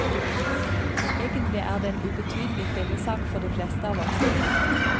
Egentlig er det en ubetydelig fillesak for de fleste av oss.